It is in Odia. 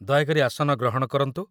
ଦୟାକରି ଆସନ ଗ୍ରହଣ କରନ୍ତୁ